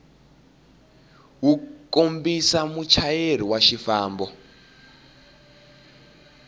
wu kombisa muchayeri wa xifambo